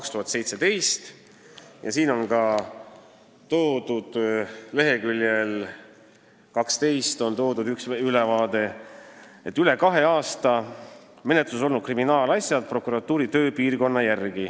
2017. aasta kokkuvõtte leheküljel 12 on selline ülevaade: "Üle kahe aasta menetluses olnud kriminaalasjad prokuratuuri tööpiirkonna järgi".